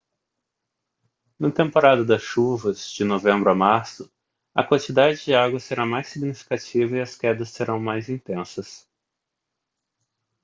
na temporada das chuvas de novembro a março a quantidade de água será mais significativa e as quedas serão mais intensas